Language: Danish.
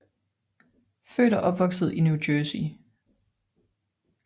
Født og opvokset i New Jercey